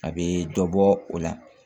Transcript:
A bɛ dɔ bɔ o la